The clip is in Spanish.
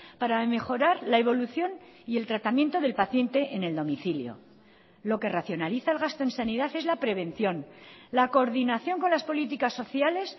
para mejorar la evolución y el tratamiento del paciente en el domicilio lo que racionaliza el gasto en sanidad es la prevención la coordinación con las políticas sociales